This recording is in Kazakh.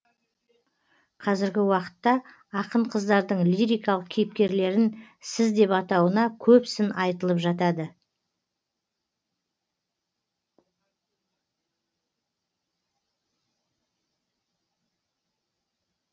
қазіргі уақытта ақын қыздардың лирикалық кейіпкерлерін сіз деп атауына көп сын айтылып жатады